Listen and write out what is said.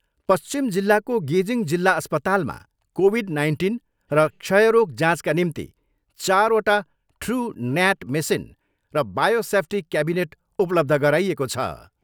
पश्चिम जिल्लाको गेजिङ जिल्ला अस्पतालमा कोभिड नाइन्टिन र क्षयरोग जाँचका निम्ति चारवटा ट्रु न्याट मेसिन र बायो सेफ्टी कैविनेट उपलब्ध गराइएको छ।